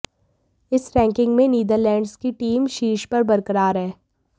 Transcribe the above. इस रैंकिंग में नीदरलैंड्स की टीम शीर्ष पर बरकरार है